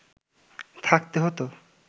থাকতে হতো